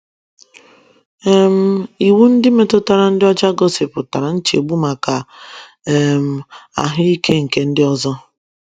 um Iwu ndị metụtara ịdị ọcha gosipụtara nchegbu maka um ahụ ike nke ndị ọzọ.